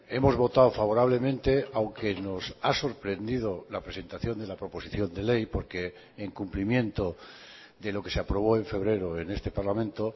hemos votado favorablemente aunque nos ha sorprendido la presentación de la proposición de ley porque en cumplimiento de lo que se aprobó en febrero en este parlamento